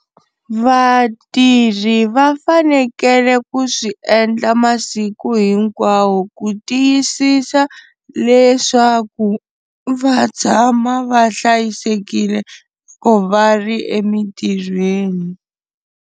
Vatirhi va fanekele ku swi endla masiku hinkwawo ku tiyisisa leswaku va tshama va hlayisekile va ri emintirhweni.